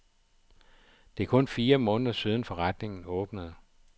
Det er kun fire måneder siden, forretningen åbnede.